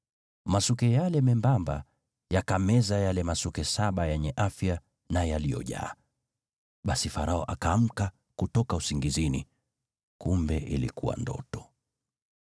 Masuke yale membamba yakameza yale masuke saba yenye afya na yaliyojaa. Basi Farao akaamka kutoka usingizini, kumbe ilikuwa ndoto.